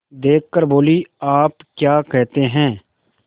देख कर बोलीआप क्या कहते हैं